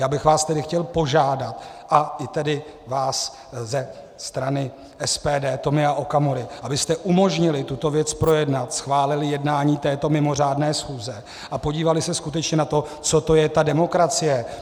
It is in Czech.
Já bych vás tedy chtěl požádat, a i tedy vás ze strany SPD Tomia Okamury, abyste umožnili tuto věc projednat, schválili jednání této mimořádné schůze a podívali se skutečně na to, co to je ta demokracie.